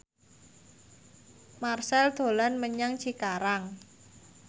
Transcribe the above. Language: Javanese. Marchell dolan menyang Cikarang